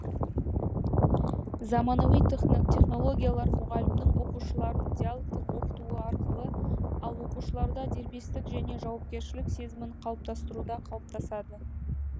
заманауи технологиялар мұғалімнің оқушыларын диалогтік оқытуы арқылы ал оқушыларда дербестік және жауапкершілік сезімін қалыптастыруда қалыптасады